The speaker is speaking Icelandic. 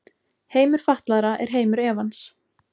Heimur fatlaðra er heimur efans.